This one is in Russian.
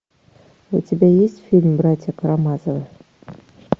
у тебя есть фильм братья карамазовы